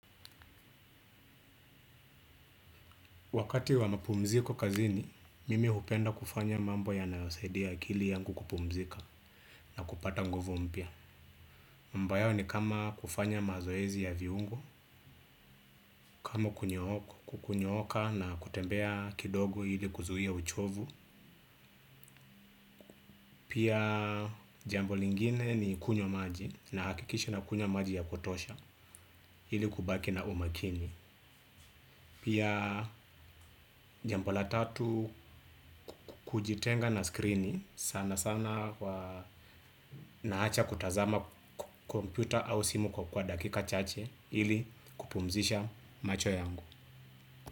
Wakati wa mapumziko kazini, mimi hupenda kufanya mambo yanayosaidia akili yangu kupumzika na kupata nguvu mpya. Mbayo ni kama kufanya mazoezi ya viungo, kama kunyooka na kutembea kidogo ili kuzuia uchovu. Pia jambo lingine ni kunywa maji nahakikisha nakunywa maji ya kutosha ili kubaki na umakini. Pia jambo la tatu kujitenga na screeni sana sana naacha kutazama kompyuta au simu kwa dakika chache ili kupumzisha macho yangu.